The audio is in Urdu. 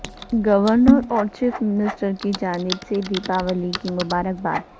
گورنر اور چیف منسٹر کی جانب سے دیپاولی کی مبارکباد